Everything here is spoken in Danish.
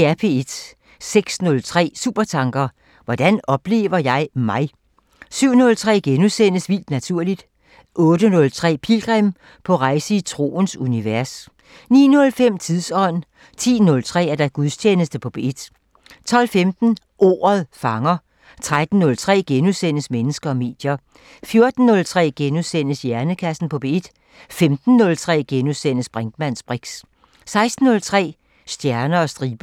06:03: Supertanker: Hvordan oplever jeg mig? 07:03: Vildt Naturligt * 08:03: Pilgrim – på rejse i troens univers 09:05: Tidsånd 10:03: Gudstjeneste på P1 12:15: Ordet fanger 13:03: Mennesker og medier * 14:03: Hjernekassen på P1 * 15:03: Brinkmanns briks * 16:03: Stjerner og striber